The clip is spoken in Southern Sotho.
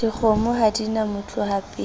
dikgomo ha di na motlohapele